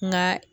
Nka